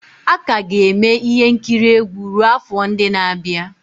A ka ga-eme ihe nkiri egwu ruo afọ ndị na-abịa.